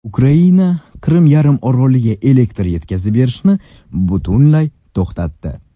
Ukraina Qrim yarimoroliga elektr yetkazib berishni butunlay to‘xtatdi.